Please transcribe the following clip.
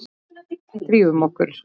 Drífum okkur.